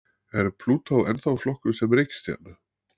Er Plútó ennþá flokkuð sem reikistjarna?